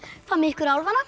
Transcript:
hvað með ykkur